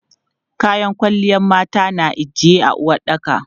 Kayan kwalliyan mata na ijiye a uwaɗɗaka.